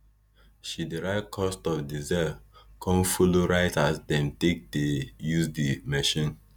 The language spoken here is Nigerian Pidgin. she dey write cost of diesel con follow write as dem take dey use di machine